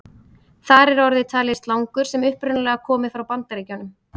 Þar er orðið talið slangur sem upprunalega komi frá Bandaríkjunum.